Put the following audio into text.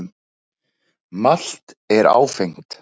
Malt er áfengt.